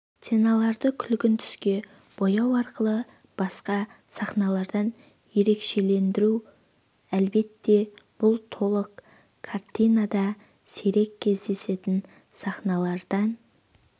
сценаларды күлгін түске бояу арқылы басқа сахналардан ерекшелендіру әлбетте бұл толық картинада сирек кездесетін сахналардан